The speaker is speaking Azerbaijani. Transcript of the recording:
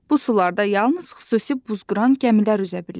Bu sularda yalnız xüsusi buzqıran gəmilər üzə bilir.